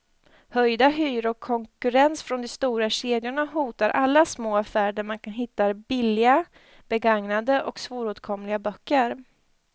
Höjda hyror och konkurrens från de stora kedjorna hotar alla små affärer där man hittar billiga, begagnade och svåråtkomliga böcker.